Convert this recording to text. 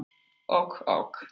Ok ok.